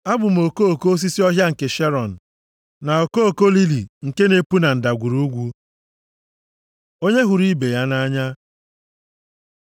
Abụ m okoko osisi ọhịa nke Sharọn, + 2:1 Okoko osisi a bụ otu nʼime okoko osisi ndị na-epu nʼọkọchị, na ndịda akụkụ osimiri Kamel \+xt Aịz 35:1-2\+xt* na okoko lili nke na-epu na ndagwurugwu. Onye hụrụ ibe ya nʼanya